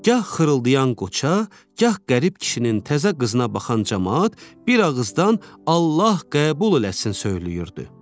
Gah xırıldayan qoça, gah qərib kişinin təzə qızına baxan camaat bir ağızdan “Allah qəbul eləsin!” söyləyirdi.